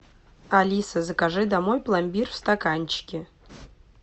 алиса закажи домой пломбир в стаканчике